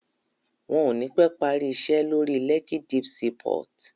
Wọ́n ò ní pẹ́ parí iṣẹ́ lórí Lekki Deep Sea port